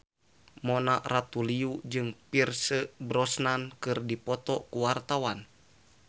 Mona Ratuliu jeung Pierce Brosnan keur dipoto ku wartawan